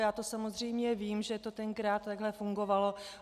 Já to samozřejmě vím, že to tenkrát takhle fungovalo.